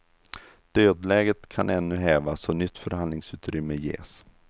Dödläget kan ännu hävas och nytt förhandlingsutrymme ges.